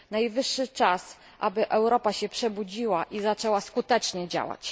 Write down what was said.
Najwyższy czas, aby Europa się przebudziła i zaczęła skutecznie działać.